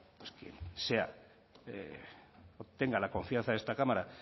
tenga la confianza de esta cámara